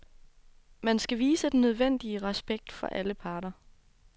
Man skal vise den nødvendige respekt for alle parter.